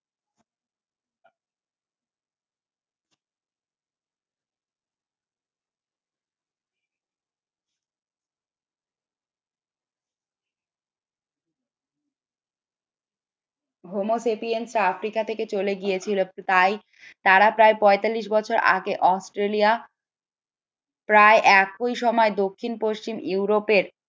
Homo sapiens Africa থেকে চলে গিয়েছিল তাই তারা প্রায় পাঁয়তাল্লিশ বছর আগে অস্ট্রেলিয়া প্রায় একই সময় দক্ষিণ-পশ্চিম ইউরোপের